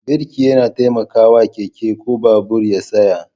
Birki yana taimakawa keke ko babur ya tsaya